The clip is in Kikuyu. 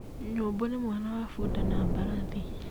Nyũmbũ nĩ mwana wa bũnda na mbarathi .